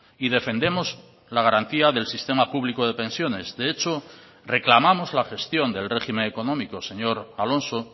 y defendemos la garantía del sistema público de pensiones de hecho reclamamos la gestión del régimen económico señor alonso